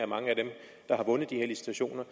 mange af dem der har vundet de her licitationer